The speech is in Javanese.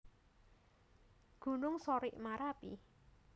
Gunung Sorik Marapi